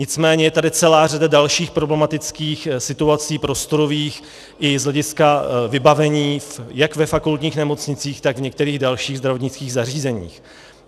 Nicméně je tady celá řada dalších problematických situací prostorových i z hlediska vybavení jak ve fakultních nemocnicích, tak v některých dalších zdravotnických zařízeních.